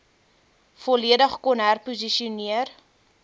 volledig kon herposisioneer